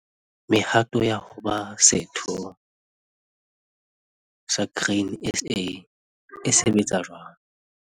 Mehato ya ho ba setho sa Grain SA - e sebetsa jwang...